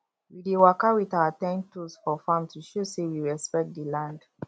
we dey waka with our ten toes for farm to show say we respect di land